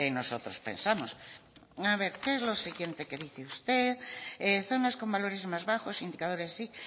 nosotros pensamos a ver qué es lo que siguiente que dice usted zonas con valores más bajos indicadores